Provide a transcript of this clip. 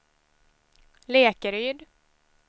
Lekeryd